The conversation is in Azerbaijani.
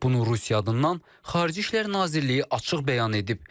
Bunu Rusiya adından Xarici İşlər Nazirliyi açıq bəyan edib.